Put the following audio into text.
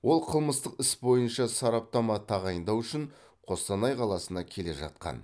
ол қылмыстық іс бойынша сараптама тағайындау үшін қостанай қаласына келе жатқан